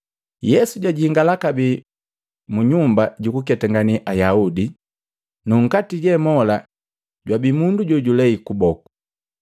Yesu jajingala kabee mu nyumba jukuketangane Ayaudi, nu nkati je mola jwabii mundu jokulei kuboku.